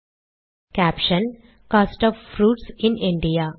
caption - cost of fruits in India